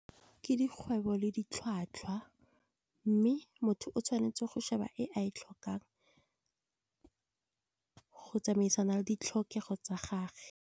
Ke dikgwebo le ditlhwatlhwa mme motho o tshwanetse go sheba e a e tlhokang, go tsamaisana le ditlhokego tsa gagwe.